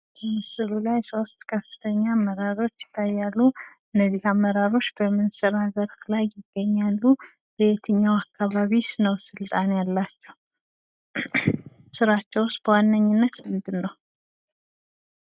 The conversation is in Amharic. በምስሉ ላይ ሶስት ከፍተኛ አመራሮች ይታያሉ ። እነዚህ አመራሮች በምን ስርዓተርክብ ላይ ይገኛሉ ?ለየትኛው አካባቢስ ነው ስልጣን ያላቸው? ስራቸውስ በዋነኛነት ምንድን ነው?